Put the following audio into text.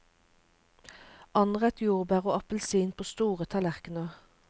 Anrett jordbær og appelsin på store tallerkener.